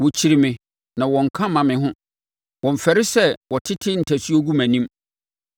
Wɔkyiri me na wɔnnka mma me ho; wɔmmfɛre sɛ wɔtete ntasuo gu mʼanim.